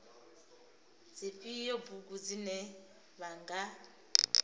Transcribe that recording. dzifhio bugu dzine vha nga